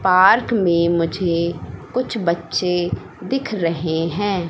Park में मुझे कुछ बच्चे दिख रहे हैं।